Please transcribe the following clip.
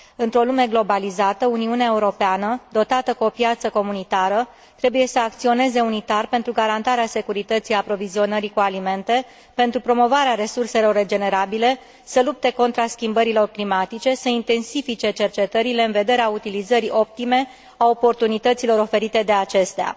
Într o lume globalizată, Uniunea Europeană, dotată cu o piață comunitară, trebuie să acționeze unitar pentru garantarea securității aprovizionării cu alimente, pentru promovarea resurselor regenerabile, să lupte contra schimbărilor climatice, să intensifice cercetările în vederea utilizării optime a oportunităților oferite de acestea.